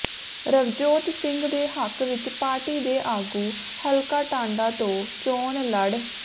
ਰਵਜੋਤ ਸਿੰਘ ਦੇ ਹੱਕ ਵਿਚ ਪਾਰਟੀ ਦੇ ਆਗੂ ਹਲਕਾ ਟਾਂਡਾ ਤੋਂ ਚੋਣ ਲੜ